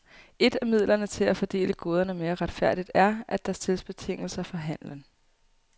Et af midlerne til at fordele goderne mere retfærdigt er, at der stilles betingelser for handelen.